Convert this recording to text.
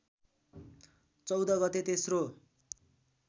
चौध गते तेस्रो